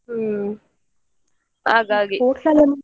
ಹ್ಮ್‌ ಹಾಗಾಗಿ .